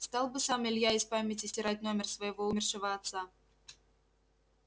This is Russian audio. стал бы сам илья из памяти стирать номер своего умершего отца